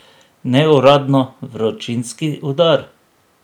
Neuradno vročinski udar.